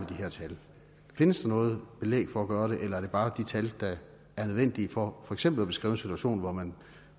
her tal findes der noget belæg for at gøre det eller er det bare de tal der er nødvendige for for eksempel at beskrive en situation hvor man